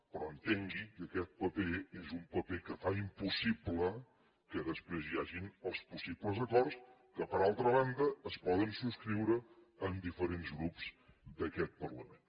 però entengui que aquest paper és un paper que fa impossible que després hi hagi els possibles acords que per altra banda es poden subscriure amb diferents grups d’aquest parlament